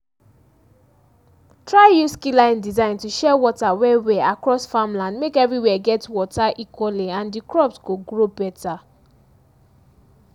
try use keyline design to share water well-well across farmland make everywhere get water equally and di crops go grow better